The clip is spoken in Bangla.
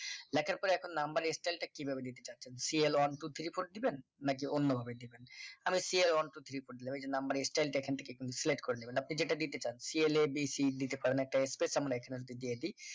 লেখার পরে এখন নাম্বারের style টা কিভাবে নিতে চাচ্ছেন c l one two three four দিবেন নাকি অন্যভাবে দিবেন আরে c l one two three four এই যে নাম্বারের style টা এখন থেকে select করে নিবেন আপনি যেটা দিতে চান c l a b c দিতে পারেন একটা space আমরা এখানে যদি দিয়ে দি